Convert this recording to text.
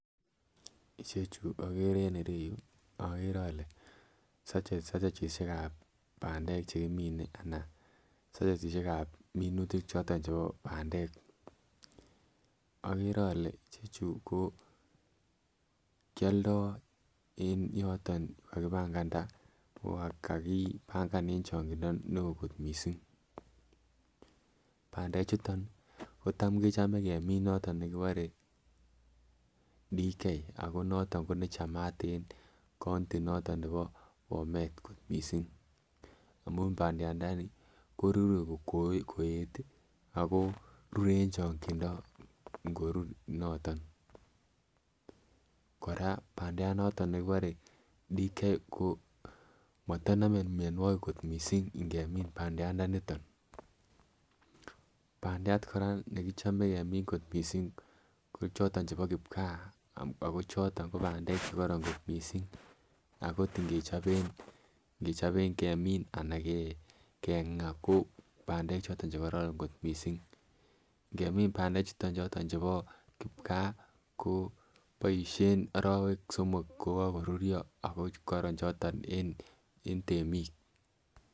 Ichechu okere en ireyuu okere ole sachetishek ab pandek chekimine anan sachetishek ab minutik choton chebo pandek. Okere ole chechu ko kioldo en yoton yuu kakipanganda ko kakipangan en changindo neo kot missing, pandek chuton kotam kechome kemiin niton nekipore DK ako noton ko nechamat en county noton nebo Bomet kot missing amun pandiat ndonili korure koet tii ako rure en chokindo inkorur noton. Koraa pandiat noton nekinore Dk ko motonome mionwokik kot missing ingemin pandiat ndoniton. Pandiat Koraa nekichomen kemin kot missing ko choton chebo kipkaa ako choton ko pandek chekoron kot missing akot ingechoben kemin anan kengaa ko pandek choton chekoron kot missing ingemin pandek chuton choton chebo kipkaa ko boishen orowek somok kokokorurio ako korom choton en temik.